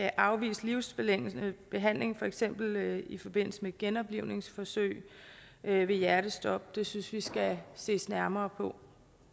afvise livsforlængende behandling for eksempel i forbindelse med genoplivningsforsøg ved ved hjertestop det synes vi der skal ses nærmere på